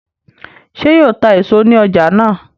ṣe yíò tá èso ní ọjà náa?